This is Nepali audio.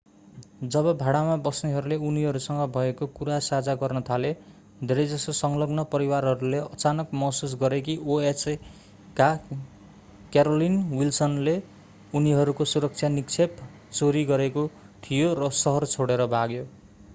जब भाडामा बस्नेहरूले उनीहरूसँग भएको कुरा साझा गर्न थाले धेरैजसो संलग्न परिवारहरूले अचानक महसुस गरे कि oha का क्यारोलिन विल्सनले उनीहरूको सुरक्षा निक्षेप चोरी गरेको थियो र शहर छोडेर भाग्यो